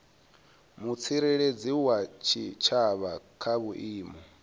mutsireledzi wa tshitshavha kha vhuimo